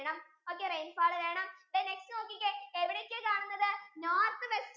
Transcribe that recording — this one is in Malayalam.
okay rainfall വേണം then next നോക്കിക്കേ എവിടൊക്കെയാ കാണുന്നത് north western